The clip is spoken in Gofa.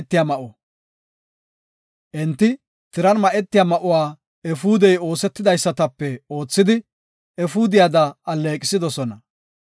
Enti, tiran ma7etiya ma7uwa efuudey oosetidaysatape oothidi, efuudiyada alleeqisidosona.